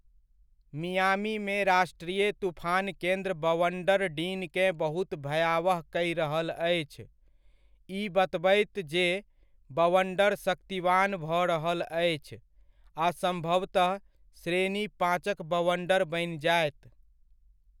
मियामीमे राष्ट्रीय तूफान केन्द्र बवण्डर डीनकेँ बहुत भयावह कहि रहल अछि, ई बतबैत जे बवण्डर शक्तिवान भऽ रहल अछि, आ सम्भवतः श्रेणी पाँचक बवण्डर बनि जायत।